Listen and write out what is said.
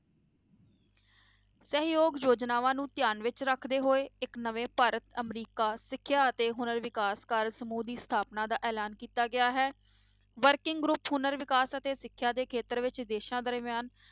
ਸਹਿਯੋਗ ਯੋਜਨਾਵਾ ਨੂੰ ਧਿਆਨ ਵਿੱਚ ਰੱਖਦੇ ਹੋਏ ਇੱਕ ਨਵੇਂ ਭਾਰਤ ਅਮਰੀਕਾ ਸਿੱਖਿਆ ਅਤੇ ਹੁਨਰ ਵਿਕਾਸ ਕਾਰਜ ਸਮੂਹ ਦੀ ਸਥਾਪਨਾ ਦਾ ਐਲਾਨ ਕੀਤਾ ਗਿਆ ਹੈ working group ਹੁਨਰ ਵਿਕਾਸ ਅਤੇ ਸਿੱਖਿਆ ਦੇ ਖੇਤਰ ਵਿੱਚ ਦੇਸਾਂ ਦਰਮਿਆਨ,